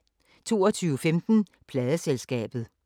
22:15: Pladeselskabet